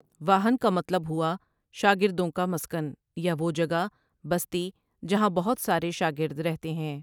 واہن کامطلب ہوا شاگردوں کامسکن یا وہ جگہ بستی جہاں بہت سارے شاگرد رہتے ہیں ۔